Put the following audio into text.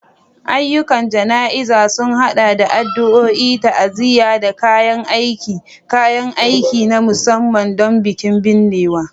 Ayyukan jana'izar sun haɗa da addu'o'i, ta'aziyya, da kayan aiki / kayan aiki na musamman don bikin binnewa.